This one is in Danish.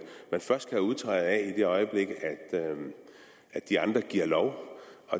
først kan udtræde af i det øjeblik at de andre giver lov